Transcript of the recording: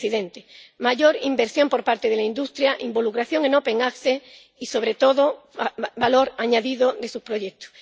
señor presidente—, mayor inversión por parte de la industria, involucración en el acceso abierto y, sobre todo, valor añadido de sus proyectos.